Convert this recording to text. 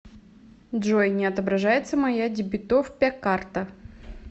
джой не отображается моя дебитовпя карта